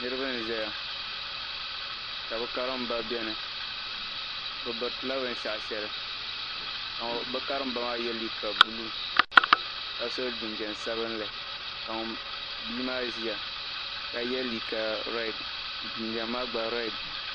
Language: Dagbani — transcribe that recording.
Niriba. -zaya ka bɛ karimba beni. Bɛ biritila binshɛɣu ka bɛ karimba maa ye liika buluu ka so jinjam sabilinli ka bia maa ʒia ka ye liika rɛdi jinjam maa gba rɛdi.